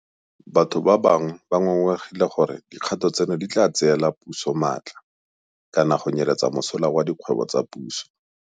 Batho ba bangwe ba ngongoregile gore dikgato tseno di tla tseela puso maatla kana go nyeletsa mosola wa dikgwebo tsa puso.